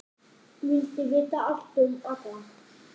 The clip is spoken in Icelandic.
Vildi vita allt um alla.